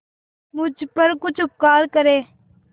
मुझ पर कुछ उपकार करें